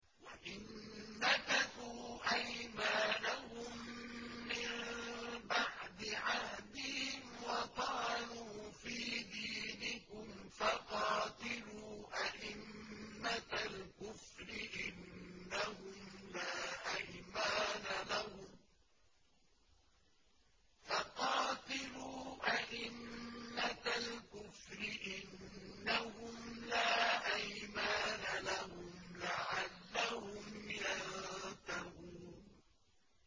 وَإِن نَّكَثُوا أَيْمَانَهُم مِّن بَعْدِ عَهْدِهِمْ وَطَعَنُوا فِي دِينِكُمْ فَقَاتِلُوا أَئِمَّةَ الْكُفْرِ ۙ إِنَّهُمْ لَا أَيْمَانَ لَهُمْ لَعَلَّهُمْ يَنتَهُونَ